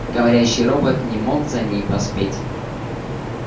говорящий робот не мог за ней поспеть